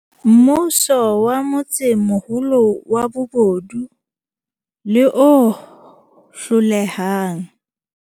Mmuso wa motsemoholo wa bobodu le o hlolehang.